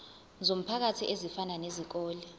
zomphakathi ezifana nezikole